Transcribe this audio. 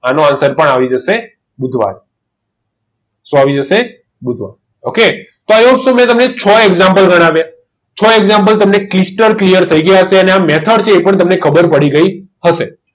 આનો answer પણ આવી જશે બુધવાર શું આવી જશે બુધવાર ok તો આઈ હોપ સો મેં તમને ત્રણ example ગણાવ્યા છો example તમને clear થઈ ગયા હશે અને method છે એ પણ તમને ખબર પડી ગઈ હશે